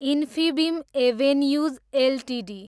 Infibeam Avenues Ltd